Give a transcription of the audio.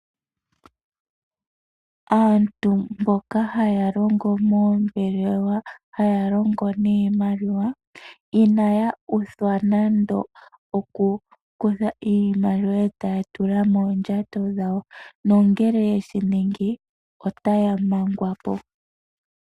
Aantu mboka haya longo moombelewa haya longo niimaliwa inaya uthwa nande okukutha iimaliwa etaya tula mondjato dhawo nongele yeshiningi otaya mangwapo.